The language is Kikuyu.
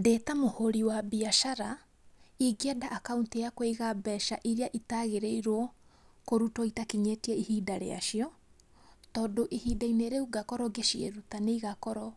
Ndĩtamũhũri wa mbiacara, ingĩenda akaũnti ya kũiga mbeca iria itagĩrĩorwo kũrutwo itakinyĩte ihinda rĩacio, tondũ ihinda-inĩ rĩũ ngakorwo ngĩciĩruta ngakorwo